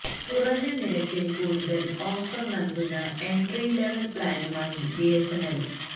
കുറഞ്ഞ നിരക്കിൽ കൂടുതൽ ഓഫർ നൽകുന്ന എന്ട്രി ലെവല് പ്ലാനുമായി ബിഎസ്എന്എല്